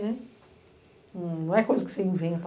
Não é coisa que você inventa.